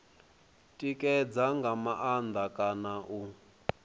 tikedza nga maanḓa kana u